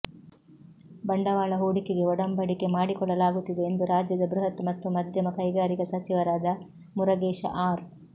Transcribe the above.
ಬಂಡವಾಳ ಹೂಡಿಕೆಗೆ ಒಡಂಬಡಿಕೆ ಮಾಡಿಕೊಳ್ಳಲಾಗುತ್ತಿದೆ ಎಂದು ರಾಜ್ಯದ ಬೃಹತ್ ಮತ್ತು ಮಧ್ಯಮ ಕೈಗಾರಿಕಾ ಸಚಿವರಾದ ಮುರಗೇಶ ಅರ್